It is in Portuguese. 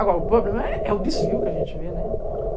Agora, o problema é o desvio que a gente vê, né?